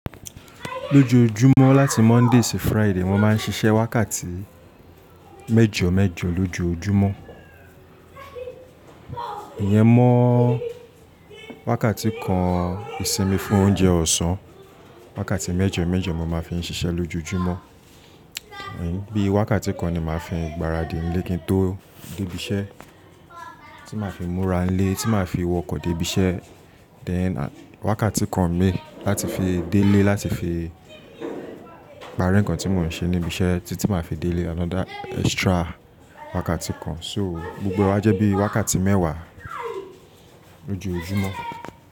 Lójojúmọ́ láti Monday sí Friday mo máa ń ṣiṣẹ́ wákàtí méjọ méjọ lójojúmọ́. Ìyẹn mọ́ wákàtí kan ìsinmi fún oúnjẹ ọ̀sán. Wákàtí méjọ méjọ mo máa fi ń ṣiṣẹ́ lójojúmọ́. Bíi wákàtí kan ni màá fi ń gbáradì nílé kí n tó dé ibi iṣẹ́, tí màá fi múra nílé, tí màá fi wọkọ̀ dé ibi iṣẹ́. Then wákàtí kan mi láti fi délé láti fi parí nǹkan tí mò ń ṣe níbi iṣẹ́ títí màá fi délé wákàtí kan miiran. So gbogbo ẹ wa jẹ́ bí wákàtí mẹ́wàá lójojúmọ́